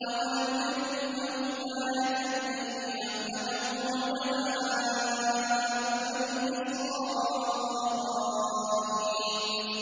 أَوَلَمْ يَكُن لَّهُمْ آيَةً أَن يَعْلَمَهُ عُلَمَاءُ بَنِي إِسْرَائِيلَ